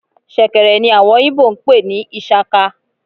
shekèrè ní awọn Igbo n pe ni ishaka